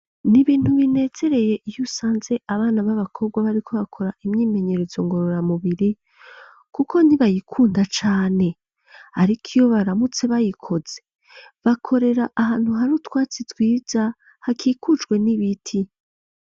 Nibintu binezereye iy'usanze abana b'abakobwa bariko bakora imyimenyerezo ngo rora mubiri kuko ni bayikunda cane ariko iyo baramutse bayikoze bakorera ahantu hari utwatsi twiza hakikujwe n'ibiti.